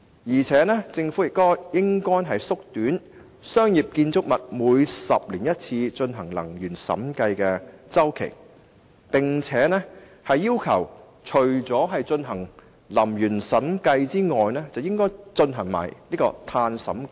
而且，政府亦應縮短商業建築物每10年進行一次的能源審計周期，並要求除進行能源審計外，更應規定進行碳審計。